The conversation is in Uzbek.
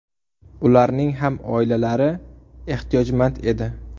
Ularning ham oilalari ehtiyojmand edi.